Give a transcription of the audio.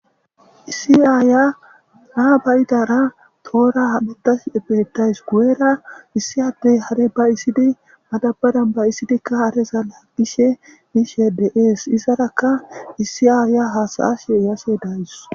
issi aaya naa bayidara toora hametash beettayus guye7era issi addey hare ba isidi madabadan bayisidikka haresa laaggishe miishe de7ees izarakka issi aaya hasayashe yashe dayus